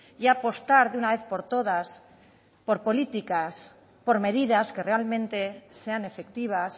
y apostar de una vez por todas por políticas por medidas que realmente sean efectivas